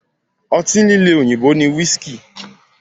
Ọtí líle òyìnbó ni whiski.